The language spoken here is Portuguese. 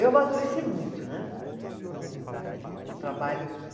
Eu amadureci muito né, com com, com o trabalho aqui.